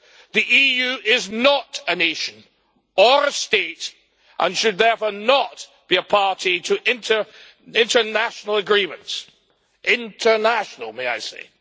The EU is not a nation or a state and should therefore not be a party to international agreements international, may I say.